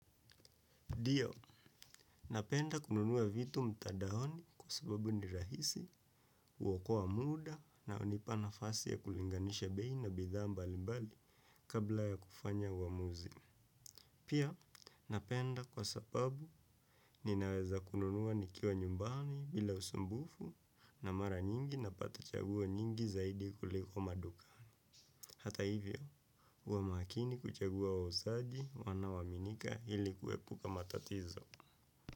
Ndio, napenda kununua vitu mtadaoni kwa sababu ni rahisi, uokoa muda na hunipa na fasi ya kulinganisha bei na bidhaa mbali mbali kabla ya kufanya uamuzi. Pia, napenda kwa sababu ninaweza kununua nikiwa nyumbani bila usumbufu na mara nyingi napata chaguo nyingi zaidi kuliko maduka. Hata hivyo, huwa makini kuchagua wauzaji wana waminika ili kuepuka matatizo.